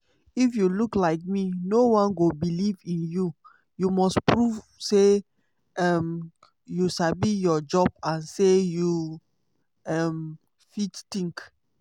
if you look like me no-one go believe in you; you must prove say um you sabi your job and say you um fit think!"